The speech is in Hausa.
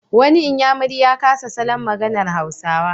Wani inyamuri ya kasa salon maganar Hausawa.